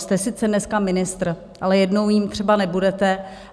Jste sice dneska ministr, ale jednou jím třeba nebudete.